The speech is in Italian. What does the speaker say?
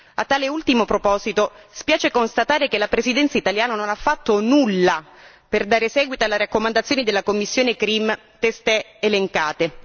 A tale ultimo proposito, spiace constatare che la Presidenza italiana non ha fatto nulla per dare seguito alle raccomandazioni della commissione CRIM testé elencate.